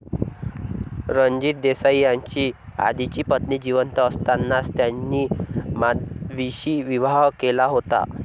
रणजित देसाई यांची आधीची पत्नी जिवंत असतानाच त्यांनी माधवीशी विवाह केला होता.